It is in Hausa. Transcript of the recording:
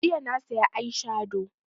Jiya na saya eye shado